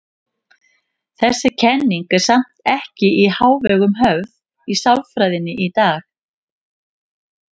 Þessi kenning er samt ekki í hávegum höfð í sálfræðinni í dag.